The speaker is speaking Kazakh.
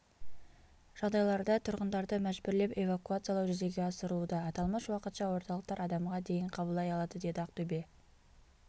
жағдайларда тұрғындарды мәжбүрлеп эвакуациялау жүзеге асырылуда аталмыш уақытша орталықтар адамға дейін қабылдай алады деді ақтөбе